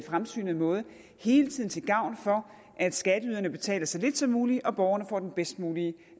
fremsynede måde hele tiden til gavn for at skatteyderne betaler så lidt som muligt og borgerne får den bedst mulige